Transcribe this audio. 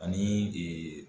Ani